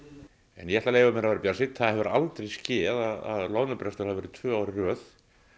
en ég ætla að leyfa mér að vera bjartsýnn það hefur aldrei skeð að loðnubrestur hafi verið tvö ár í röð